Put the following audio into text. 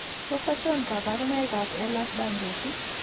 Tos achon kabarunaik ab Ehlers Danlos ?